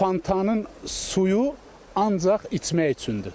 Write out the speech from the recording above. Bu fontanın suyu ancaq içmək üçündür.